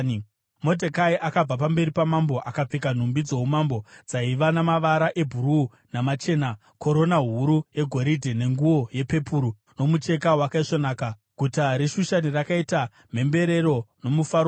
Modhekai akabva pamberi pamambo akapfeka nhumbi dzoumambo dzaiva namavara ebhuruu namachena, korona huru yegoridhe nenguo yepepuru yomucheka wakaisvonaka. Guta reShushani rakaita mhemberero nomufaro mukuru.